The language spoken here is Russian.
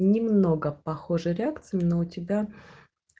немного похожи реакции но у тебя